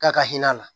K'a ka hinɛ la